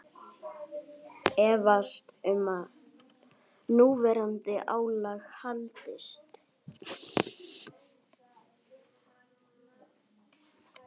Efast um að núverandi álag haldist